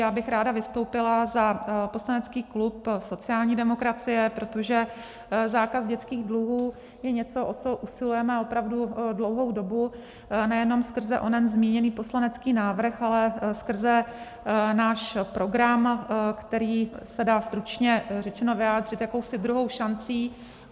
Já bych ráda vystoupila za poslanecký klub sociální demokracie, protože zákaz dětských dluhů je něco, o co usilujeme opravdu dlouhou dobu nejenom skrze onen zmíněný poslanecký návrh, ale skrze náš program, který se dá stručně řečeno vyjádřit jakousi druhou šancí.